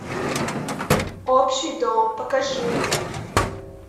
общий дом покажи мне